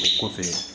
O kɔfɛ